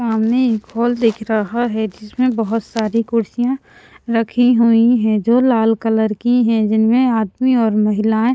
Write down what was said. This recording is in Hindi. सामने एक हॉल दिख रहा है जिसमें बहुत सारी कुर्सियाँ रखी हुई हैं जो लाल कलर की हैं जिनमें आदमी और महिलाएँ --